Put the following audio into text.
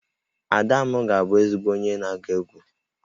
Ada m ga-abụ ezigbo onye na-agụ egwú